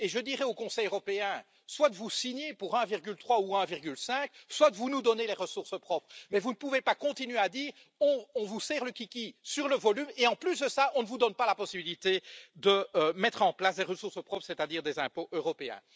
Je dirais donc au Conseil européen, soit vous signez pour 1,3 ou 1,5, soit vous nous donnez les ressources propres, mais vous ne pouvez pas continuer à dire on vous serre le kiki sur le volume et en plus de ça, on ne vous donne pas la possibilité de mettre en place des ressources propres, c'est à dire des impôts européens.